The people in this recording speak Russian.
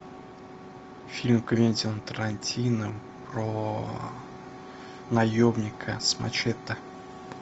фильм квентина тарантино про наемника с мачете